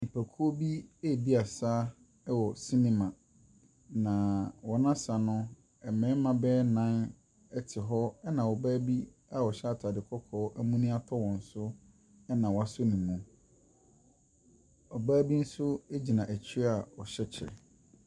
Nipakuo bi edi asa ɛwɔ senema. Na wɔn asa no ɛmmɛɛma bɛyɛ nan ɛte hɔ ɛna ɔbaa bi a ɔhyɛ ataade kɔkɔɔ amuni atɔ wɔn so, ɛna waso nemu. Ɔbaa bi nso egyina akyire a ɔhɛ kyɛ.